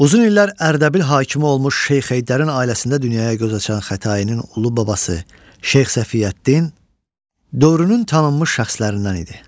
Uzun illər Ərdəbil hakimi olmuş Şeyx Heydərin ailəsində dünyaya göz açan Xətainin ulu babası Şeyx Səfiyəddin dövrünün tanınmış şəxslərindən idi.